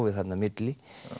þarna á milli